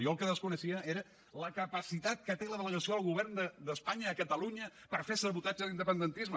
jo el que desconeixia era la capacitat que té la delegació del govern d’espanya a catalunya per fer sabotatge a l’independentisme